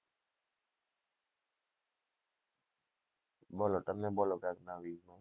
બોલો તમે બોલો વેશનવી